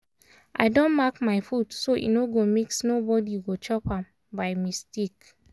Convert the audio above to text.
i don mark my food so e no go mix nobody go chop am by mistake.